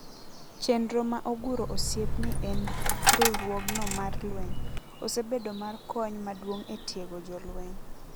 Chenro ma oguro osiep ni en riwruogno mar lweny. Osebedo mar kony maduong e tiego jolweny.